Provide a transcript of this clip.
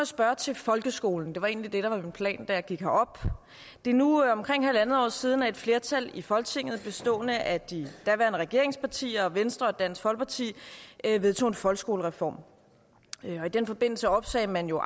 spørge til folkeskolen det var egentlig det der var min plan da jeg gik herop det er nu omkring halvandet år siden at et flertal i folketinget bestående af de daværende regeringspartier venstre og dansk folkeparti vedtog en folkeskolereform i den forbindelse opsagde man jo